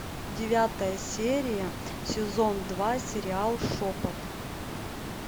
девятая серия сезон два сериал шепот